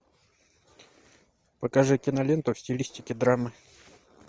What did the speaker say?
покажи киноленту в стилистике драмы